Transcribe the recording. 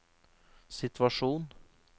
situasjon